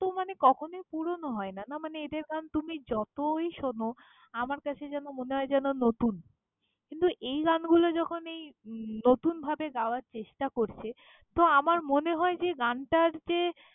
তো মানে কখনই পুরোনো হয় না, না মানে এদের গান তুমি যতই শোনো, আমার কাছে যেন মনে হয় যেন নতুন। কিন্তু, এই গানগুলো যখন এই উম নতুনভাবে গাওয়ার চেষ্টা করছে, তো আমার মনে হয় যে গানটার যে।